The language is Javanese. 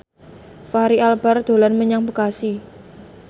Fachri Albar dolan menyang Bekasi